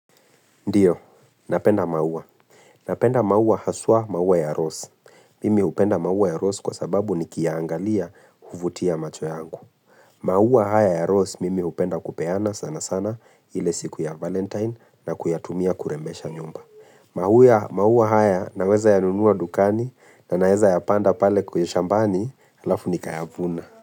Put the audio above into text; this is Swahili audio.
Ndio, napenda maua. Napenda maua haswa maua ya rose. Mimi hupenda maua ya rose kwa sababu nikiiangalia huvutia macho yangu. Maua haya ya rose mimi hupenda kupeana sana sana ile siku ya valentine na kuyatumia kurembesha nyumba. Maua haya naweza yanunua dukani na naeza yapanda pale kwenye shambani halafu nikayavuna.